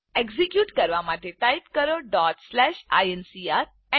execute કરવા માટે type કરો આઇએનસીઆર